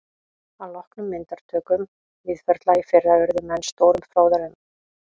Að loknum myndatökum Víðförla í fyrra urðu menn stórum fróðari um